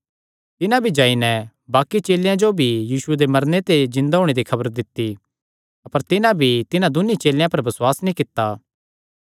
तिन्हां भी जाई नैं बाक्कि चेलेयां जो भी यीशुये दे जिन्दे होणे दी खबर दित्ती अपर तिन्हां भी तिन्हां दून्नी चेलेयां पर भी बसुआस नीं कित्ता